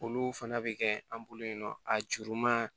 Olu fana bɛ kɛ an bolo yen nɔ a juruman